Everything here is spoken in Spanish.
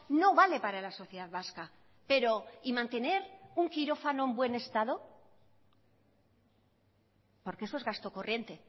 no vale para la sociedad vasca pero y mantener un quirófano en buen estado porque eso es gasto corriente